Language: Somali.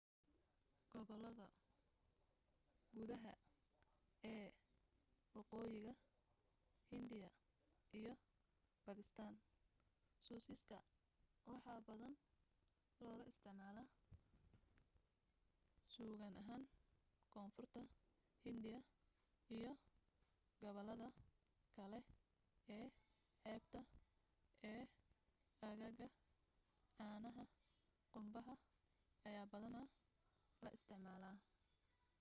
gobollada gudaha ee waqooyiga hindiya iyo baakistaan suusaca waxaa badanaa looga isticmaalaa suugo ahaan koonfurta hindiya iyo gobollada kale ee xeebta ee aaggaa caanaha qumbaha ayaa badanaa la isticmaalaa